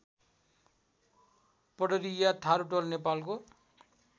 पडरिया थारुटोल नेपालको